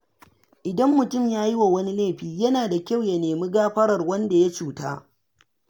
Idan mutum ya yiwa wani laifi, yana da kyau ya nemi gafarar wanda ya cuta.